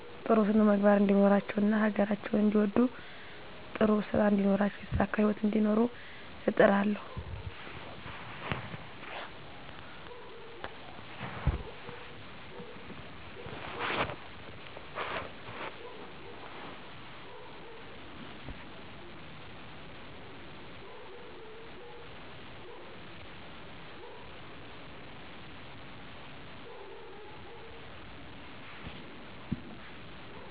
ጥሩ ስነምግባር እንዲኖራቸው እና ሀገራቸውን እንዲወዱ ጥሩ ስራእንዲኖራቸው የተሳካ ህይወት እንዲኖሩ እጥራለሁ